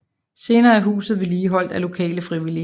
Senere er huset vedligeholdt af lokale frivillige